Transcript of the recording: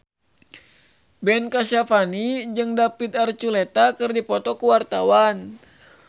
Ben Kasyafani jeung David Archuletta keur dipoto ku wartawan